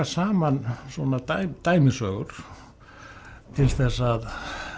saman svona dæmisögur til þess að